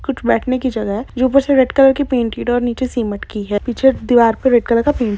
कुछ बैठने की जगह है जो ऊपर से रेड कलर पैंट की और नीचे सिमेन्ट की है पीछे दीवार बी रेड कलर पैंट --